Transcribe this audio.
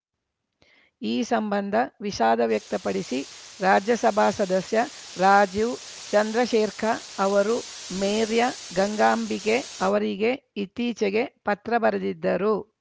ಈ ಸಂಬಂಧ ವಿಷಾದ ವ್ಯಕ್ತಪಡಿಸಿ ರಾಜ್ಯಸಭಾ ಸದಸ್ಯ ರಾಜೀವ್‌ ಚಂದ್ರಶೇರ್‌ಖ ಅವರು ಮೇರ್‌ಯ ಗಂಗಾಂಬಿಕೆ ಅವರಿಗೆ ಇತ್ತೀಚೆಗೆ ಪತ್ರ ಬರೆದಿದ್ದರು